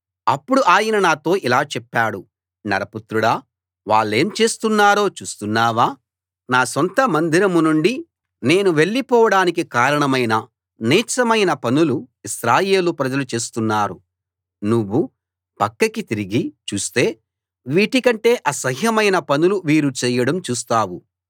అప్పుడు ఆయన నాతో ఇలా చెప్పాడు నరపుత్రుడా వాళ్ళేం చేస్తున్నారో చూస్తున్నావా నా సొంత మందిరం నుండి నేను వెళ్ళిపోవడానికి కారణమైన నీచమైన పనులు ఇశ్రాయేలు ప్రజలు చేస్తున్నారు నువ్వు పక్కకి తిరిగి చూస్తే వీటి కంటే అసహ్యమైన పనులు వీరు చేయడం చూస్తావు